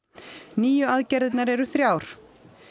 nýju aðgerðirnar eru þrjár